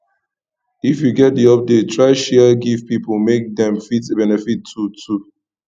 if you get the update try share give pipo make dem fit benefit too too